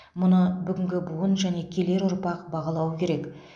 мұны бүгінгі буын және келер ұрпақ бағалауы керек